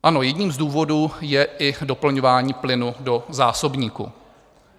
Ano, jedním z důvodů je i doplňování plynu do zásobníků.